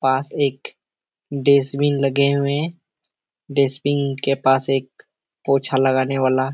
पास एक डस्टबिन लगे हुवे हैं डस्टबिन के पास एक पोछा लगाने वाला--